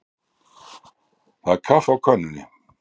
Það er kaffi á könnunni.